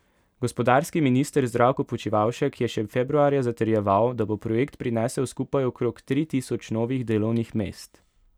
Gospodarski minister Zdravko Počivalšek je še februarja zatrjeval, da bo projekt prinesel skupaj okrog tri tisoč novih delovnih mest.